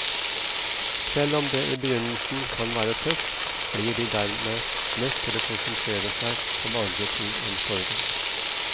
Selv om det i begynnelsen kan være tøft, blir de dermed nødt til å konsentrere seg om andre ting enn sorgen.